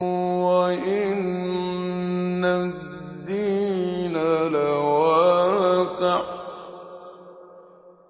وَإِنَّ الدِّينَ لَوَاقِعٌ